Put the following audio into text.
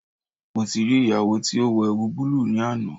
Mo ti ri iyawo ti o wọ ẹwu bulu ni ana